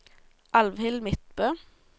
Alfhild Midtbø